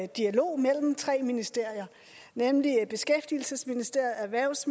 dialog mellem tre ministerier nemlig beskæftigelsesministeriet erhvervs